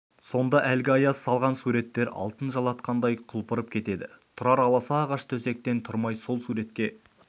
сонда әлгі аяз салған суреттер алтын жалатқандай құлпырып кетеді тұрар аласа ағаш төсектен тұрмай сол суретке